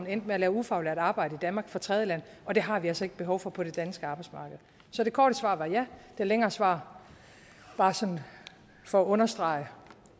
endte med at lave ufaglært arbejde i danmark fra tredjelande og det har vi altså ikke behov for på det danske arbejdsmarked så det korte svar var ja det længere svar var for at understrege